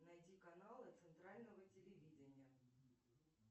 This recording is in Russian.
найди каналы центрального телевидения